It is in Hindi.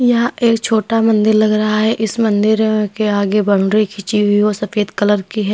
यह एक छोटा मंदिर लग रहा है। इस मंदिर के आगे बाउंड्री खींची हुई वो सफेद कलर की है।